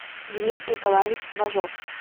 денис николаевич важов